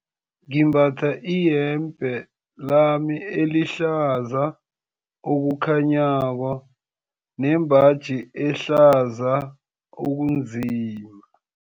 Ngimbatha iyembe lami elihlaza okukhanyako nembaji ehlaza okunzima.